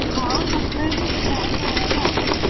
ହଉ ତତେ ଯଦି ଇଚ୍ଛା ହବ ତୁ ଆଣିଆ କଥା ଆଣିବୁ ଆଉ।